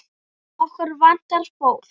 Okkur vantar fólk.